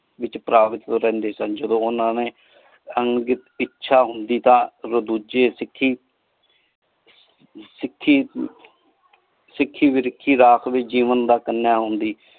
ਵਿਚ ਪਰ੍ਬਿਤ ਰਹਿੰਦੇ ਸਨ ਜਦੋਂ ਓਹਨਾ ਨੇ ਅੰਗਿਤ ਇਛਾ ਹੁੰਦੀ ਤਾ ਡੋਜੀ ਸਿਖਯ ਸਿਖੀ ਸਿਖੀ ਵਿਰਿਖੀ ਰੱਖ ਵਿਚ ਜੀਵਨ ਦਾ ਕਾਨਿਯਾ ਹੁੰਦੀ।